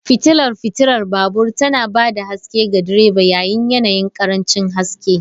Fitilar fitilar babur tana ba da haske ga direba yayin yanayin ƙarancin haske.